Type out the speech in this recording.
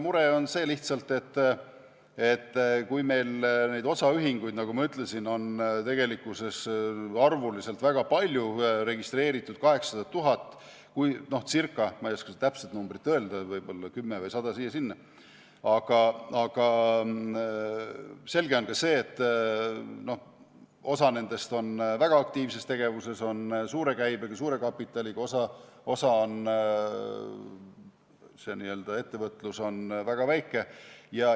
Mure on lihtsalt see, et meil neid osaühinguid, nagu ma ütlesin, on arvuliselt väga palju, registreeritud ca 800 000 , aga selge on see, et osa nendest on väga aktiivses tegevuses, suure käibega, suure kapitaliga, osa puhul on n-ö ettevõtlus väga väike.